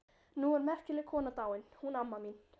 Nú er merkileg kona dáin, hún amma mín.